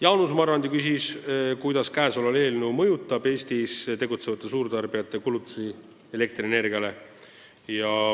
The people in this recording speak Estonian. Jaanus Marrandi küsis, kuidas see seadus mõjutaks Eestis tegutsevate suurtarbijate kulutusi elektrienergiale.